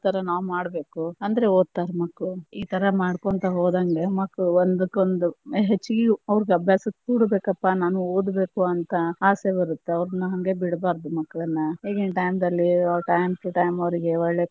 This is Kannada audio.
ತರಾ ನಾವ ಮಾಡಬೇಕು ಅಂದ್ರೆ ಓದತಾರ ಮಕ್ಳು, ಈ ತರಾ ಮಾಡ್ಕೊಂತ ಹೋದಂಗ ಮಕ್ಳ ಒಂದಕ್ಕ ಒಂದು ಹೆಚಗಿ ಅವ್ರ ಅಭ್ಯಾಸಕ್ಕ ಕೂಡಬೇಕಪ್ಪಾ ನಾನು ಓದಬೇಕು ಅಂತ ಆಸೆ ಬರತ್ತ ಅವರನ್ನ ಹಂಗೆ ಬಿಡಬಾರದು ಮಕ್ಕಳನ್ನ, ಇಗಿನ time ದಲ್ಲಿ time to time ಅವ್ರಿಗೆ ಒಳ್ಳೆ.